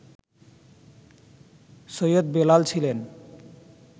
সৈয়দ বেলাল ছিলেন